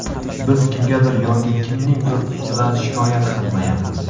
Biz kimgadir yoki kimningdir ustidan shikoyat qilmayapmiz.